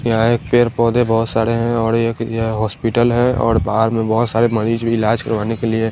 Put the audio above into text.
यहाँ है एक पेड़ पौधे बोहोत साड़े हैं और एक यह हॉस्पिटल है और पास में बोहोत सारे मरीज भी इलाज करवाने के लिए --